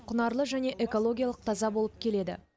құнарлы және экологиялық таза болып келеді